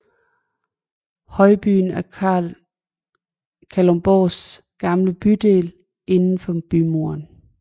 Højbyen er Kalundborgs gamle bydel indenfor bymuren